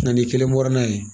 Na n'i kelen bɔra n'a ye